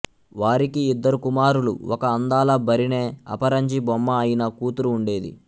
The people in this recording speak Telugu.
వారికి ఇద్దరు కుమారులు ఒక అందాల భరిణె అపరంజి బొమ్మ అయిన కూతురు ఉండేది